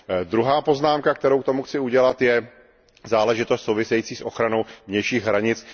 Druhá poznámka, kterou k tomu chci udělat, je záležitost související s ochranou vnějších hranic.